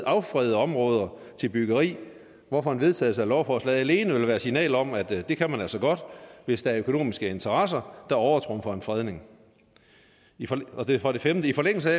affredede områder til byggeri hvorfor en vedtagelse af lovforslaget alene vil være signal om at det kan man altså godt hvis der er økonomiske interesser der overtrumfer en fredning for det femte i forlængelse